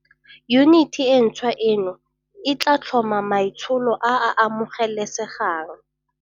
Yuniti e ntšhwa eno e tla tlhoma maitsholo a a amogelesegang.